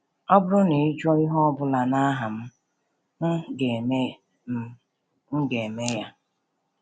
“Ọ bụrụ na i jụọ ihe ọ bụla n’aha m, m ga-eme m, m ga-eme ya.”